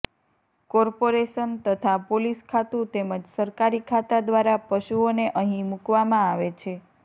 corporation તથા police ખાતુ તેમજ સરકારી ખાતા દ્વારા પશુઓને અહીં મુકવામાં આવે છે